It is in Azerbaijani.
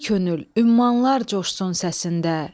Ey könül, ümmanlar coşsun səsində.